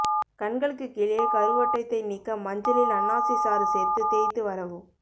கண்களுக்கு கீழே கருவட்டத்தை நீக்க மஞ்சளில் அன்னாசி சாறு சேர்த்து தேய்த்து வரவும்